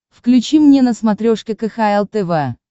включи мне на смотрешке кхл тв